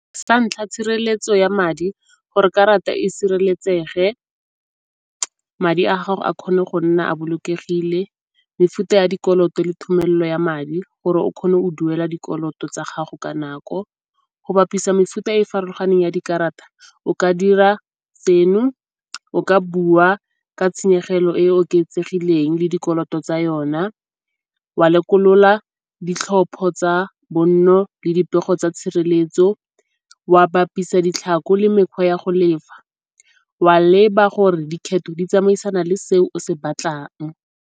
Sa ntlha, tshireletso ya madi gore karata e sireletsege madi a gago a kgone go nna a bolokegile. Mefuta ya dikoloto le thomelo ya madi gore o kgone go duela dikoloto tsa gago ka nako. Go bapisa mefuta e farologaneng ya dikarata o ka dira se no, o ka bua ka tshenyegelo e e oketsegileng le dikoloto tsa yona, wa lekolola ditlhopho tsa bonno le dipego tsa tshireletso. Wa bapisa ditlhako le mekgwa ya go lefa, wa leba gore dikgetho di tsamaisana le se o se batlang.